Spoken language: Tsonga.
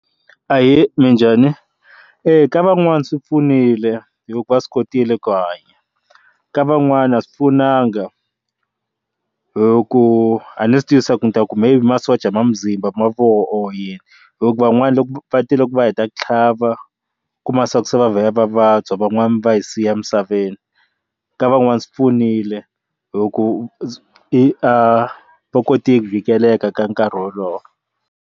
Ahee, minjhani eya ka van'wana swi pfunile hikuva swi kotile ku hanya ka van'wani a swi pfunanga hi ku a ni swi twisisa ku ni ta ku maybe masocha ma muzimba mavoko onhela huku van'wani loko va tile ku va hi ta ku tlhava ku masiku se va vuya va vabya van'wana va hi siya emisaveni ka van'wana swi pfunile huku i a va koti ku vikelela ka nkarhi wolowo.